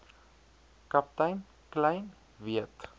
kaptein kleyn weet